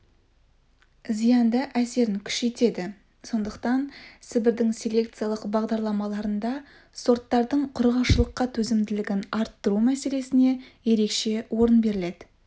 зиянды әсерін күшейтеді сондықтан сібірдің селекциялық бағдарламаларында сорттардың құрғақшылыққа төзімділігін арттыру мәселесіне ерекше орын беріледі